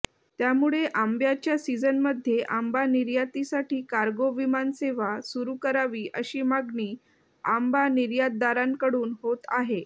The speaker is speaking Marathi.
त्यामुळे आंब्याच्या सीझनमध्ये आंबा निर्यातीसाठी कार्गो विमानसेवा सुरू करावी अशी मागणी आंबा निर्यातदारांकडून होत आहे